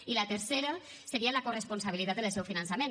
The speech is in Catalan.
i la tercera seria la corresponsabilitat en el seu finançament